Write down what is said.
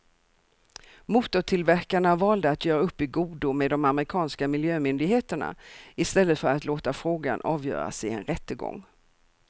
Motortillverkarna valde att göra upp i godo med de amerikanska miljömyndigheterna i stället för att låta frågan avgöras i en rättegång.